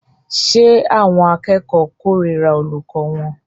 Ṣé àwọn akẹ́kọ̀ọ́ kórìíra olùkọ́ wọn?